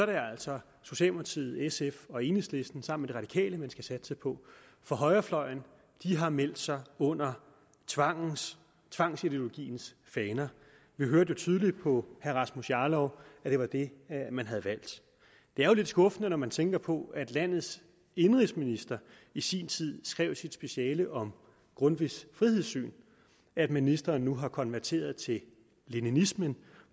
altså socialdemokratiet sf og enhedslisten sammen med de radikale man skal satse på for højrefløjen har meldt sig under tvangsideologiens faner vi hørte jo tydeligt på herre rasmus jarlov at det var det man havde valgt det er jo lidt skuffende når man tænker på at landets indenrigsminister i sin tid skrev sit speciale om grundtvigs frihedssyn at ministeren nu har konverteret til leninismen